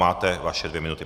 Máte své dvě minuty.